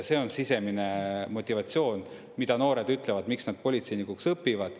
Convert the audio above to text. See on sisemine motivatsioon, mida noored ütlevad, et miks nad politseinikuks õpivad.